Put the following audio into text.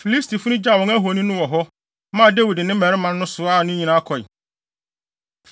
Filistifo no gyaw wɔn ahoni wɔ hɔ, maa Dawid ne ne mmarima no soaa ne nyinaa kɔe.